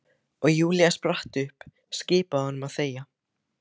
Og Júlía spratt upp, skipaði honum að þegja.